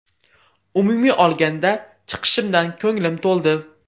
Umumiy olganda chiqishimdan ko‘nglim to‘ldi.